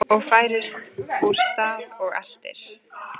OG FÆRIST ÚR STAÐ OG ELTIR